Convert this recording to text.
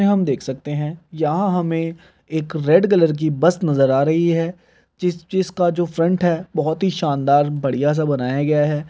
में हम देख सकते हैं यहाँ हमें एक रेड कलर की बस नजर आ रही है जिस जिसका जो फ्रन्ट है बहुत ही शानदार बढ़ियां-सा बनाया गया है।